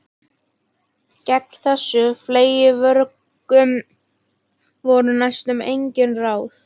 Gegn þessum fleygu vörgum voru næstum engin ráð.